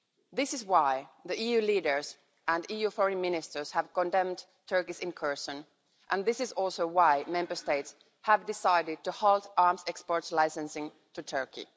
This is why the EU leaders and EU Foreign Ministers have condemned Turkey's incursion and this is also why Member States have decided to halt arms exports licensing to Turkey.